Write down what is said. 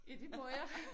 Ja det må jeg